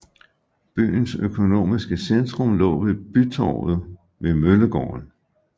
Byens økonomiske centrum lå ved bytorvet ved Møllegaden